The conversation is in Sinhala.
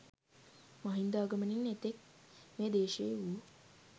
මහින්දාගමනයෙන් එතෙක් මේ දේශයෙහි වූ